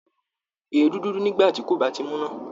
Èédú dúdú nígbà tí kò bá tíì múná